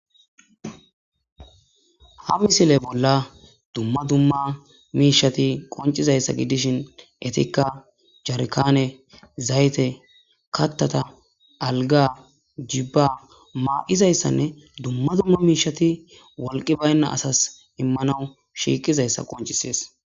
Ha misile bolla dumma dumma miishati qoncizayssa giddishin etikka jarkaane zayte kattata alga jibba maa'izayssanne dumma dumma miishati walqi baynna asas immanawu shiiqizayssa qoncisees.